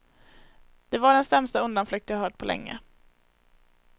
Det var den sämsta undanflykt jag hört på länge.